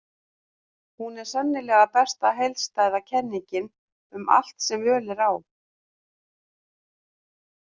Hún er sennilega besta heildstæða kenningin um allt sem völ er á.